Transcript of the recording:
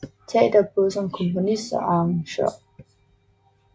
Teater både som komponist og arrangør